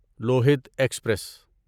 Lohit express